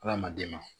Hadamaden ma